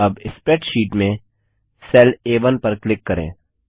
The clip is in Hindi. अब स्प्रैडशीट में सेल आ1 पर क्लिक करें